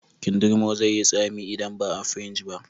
Kindirmon zai yi tsami idan baa fringe ba